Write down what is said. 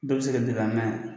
Dɔ bɛ se ka deli an na yan